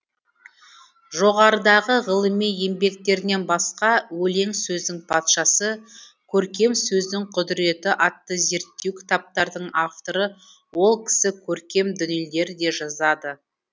жоғарыдағы ғылыми еңбектерінен басқа өлең сөздің патшасы көркем сөздің құдіреті атты зерттеу кітаптардың авторы ол кісі көркем дүниелер де жазады